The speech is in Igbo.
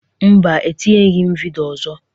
Mba, etinyeghi m vidịo ọzọ.